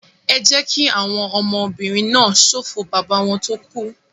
Ẹ jẹ́ kí àwọn ọmọbìnrin náà ṣọ̀fọ̀ bàbá wọn tó kú!